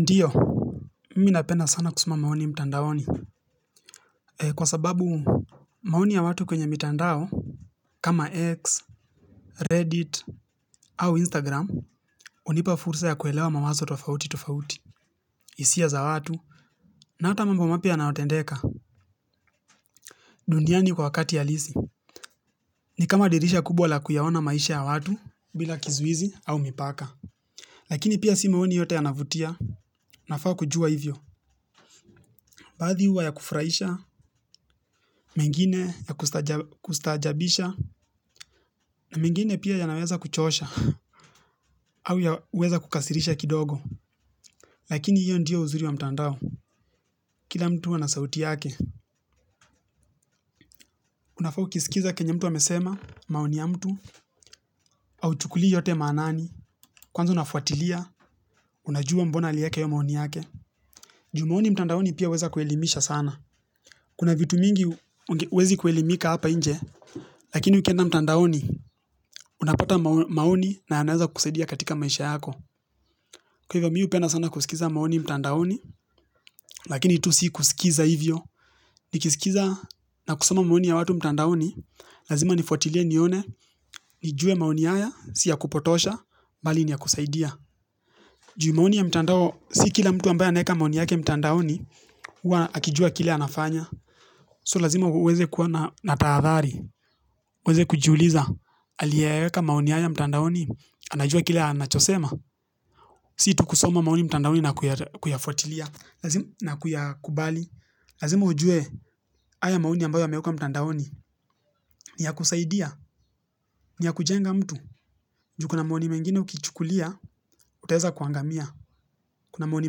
Ndiyo, mimi napenda sana kusema maoni mtandaoni, kwa sababu maoni ya watu kwenye mitandao, kama X, Reddit, au Instagram, hunipa fursa ya kuelewa mamazo tofauti tofauti, hisia za watu, na ata mambo mapya yanayotendeka, dundiani kwa wakati ya halisi, ni kama dirisha kubwa la kuyaona maisha ya watu, bila kizuizi au mipaka. Lakini pia si maoni yote yanavutia, nafaa kujua hivyo. Baadhi huwa ya kufurahisha, mengine ya kustaajabisha, na mengine pia yanaweza kuchosha, au yaweza kukasirisha kidogo. Lakini hiyo ndiyo uzuri wa mtandao, kila mtu ana sauti yake. Unafaa ukisikiza kenye mtu amesema, maoni ya mtu, hauchukulii yote maanani, kwanza unafuatilia, unajua mbona alieka hiyo maoni yake. Juu maoni mtandaoni pia huweza kuelimisha sana. Kuna vitu mingi huwezi kuelimika hapa inje, lakini ukienda mtandaoni, unapata maoni na yanaweza kukusaidia katika maisha yako. Kwa hivyo mimi hupenda sana kusikiza maoni mtandaoni, lakini tu si kusikiza hivyo. Nikisikiza na kusoma maoni ya watu mtandaoni, lazima nifuatilie nione, nijue maoni haya, si ya kupotosha, bali ni ya kusaidia. Juu maoni ya mtandao, si kila mtu ambaye anaeka maoni yake mtandaoni, hua akijua kile anafanya. So lazima uweze kuwa na taadhari, uweze kujiuliza. Aliyeka maoni haya ya mtandaoni, anajua kile anachosema. Si tu kusoma maoni mtandaoni na kuyafuatilia, na kuyakubali. Lazima ujue haya maoni ambayo yameekwa mtandaoni, ni ya kusaidia, ni ya kujenga mtu. Juu kuna maoni mengine ukichukulia, utaeza kuangamia. Kuna maoni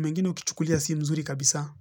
mengine ukichukulia si mzuri kabisa.